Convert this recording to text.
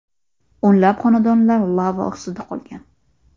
O‘nlab xonadonlar lava ostida qolgan.